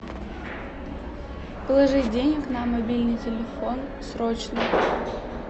положить денег на мобильный телефон срочно